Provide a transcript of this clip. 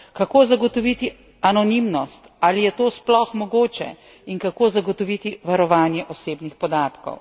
Kako zagotoviti anonimnost, ali je to sploh mogoče, in kako zagotoviti varovanje osebnih podatkov?